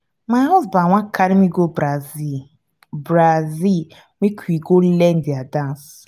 my husband wan carry me go brazil brazil make we go learn their dance